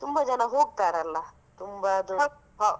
ತುಂಬಾ ಜನ ಹೋಗ್ತಾರಲ್ಲ .